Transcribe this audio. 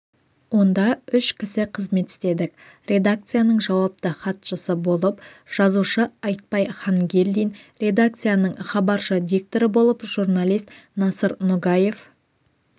онда үш кісі қызмет істедік редакцияның жауапты хатшысы болып жазушы айтпай хангелдин редакцияның хабаршы-дикторы болып журналист насыр ногаев